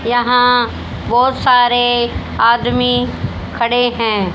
यहां बहोत सारे आदमी खड़े हैं।